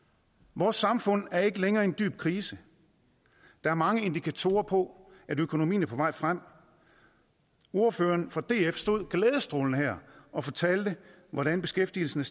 vores samfund er ikke længere i en dyb krise der er mange indikatorer på at økonomien er på vej frem ordføreren for df stod glædestrålende her og fortalte hvordan beskæftigelsen